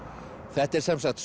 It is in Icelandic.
þetta er sem sagt